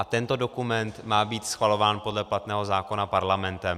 A tento dokument má být schvalován podle platného zákona parlamentem.